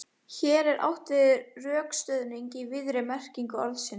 Hér er átt við rökstuðning í víðri merkingu orðsins.